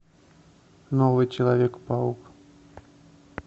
новый человек паук